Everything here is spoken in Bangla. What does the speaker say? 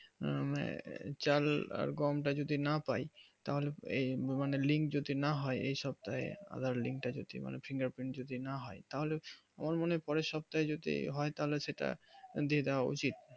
উম চাল আর গম তা যদি না পাই তাহলে এই link যদি না হয় এই সপ্তাহে আবার link তা যদি মানে finger print যদি না হয় তাহলে আমার মানে পরের সপ্তাহে যদি হয় তাহলে সেটা দিয়ে দেওয়া উচিত